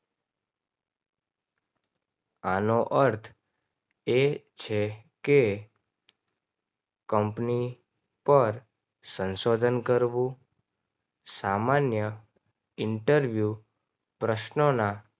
આનો અર્થ એ છે કે કંપની પર સંશોધન કરવું. સામાન્ય ઇન્ટરવ્યૂ પ્રશ્નોના